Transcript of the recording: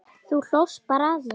Hvað viltu faðir minn?